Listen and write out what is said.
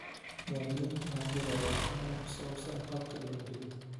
Muwaadiniintu waxay helayaan faham ku saabsan habka diiwaangelinta.